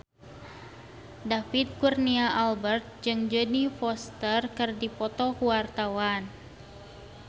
David Kurnia Albert jeung Jodie Foster keur dipoto ku wartawan